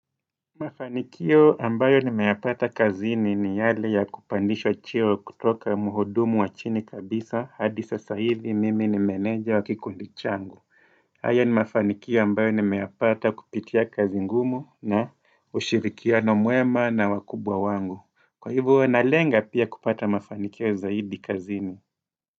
Mafanikio ambayo nimeyapata kazini ni yale ya kupandishwa cheo kutoka muhudumu wa chini kabisa hadi sasa hivi mimi ni meneja wa kikundi changu haya ni mafanikio ambayo nimeyapata kupitia kazi ngumu na ushirikiano mwema na wakubwa wangu Kwa hivo nalenga pia kupata mafanikio zaidi kazini.